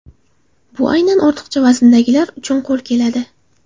Bu aynan ortiqcha vazndagilar uchun qo‘l keladi.